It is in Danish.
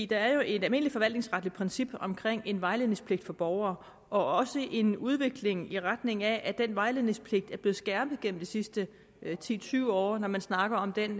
der er jo et almindeligt forvaltningsretligt princip omkring en vejledningspligt for borgere og også en udvikling i retning af at den vejledningspligt er blevet skærpet gennem de sidste ti til tyve år når man snakker om den